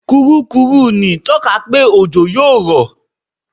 Kùrukùru ń tọ́ka pé òjò yó rọ̀.